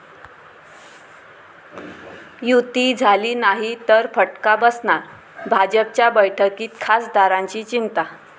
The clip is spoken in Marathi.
युती' झाली नाही तर फटका बसणार, भाजपच्या बैठकीत खासदारांची चिंता!